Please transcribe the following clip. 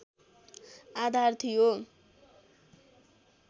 आधार थियो